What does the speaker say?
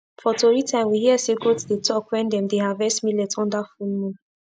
for tori time we hear say goat dey talk when dem dey harvest millet under full moon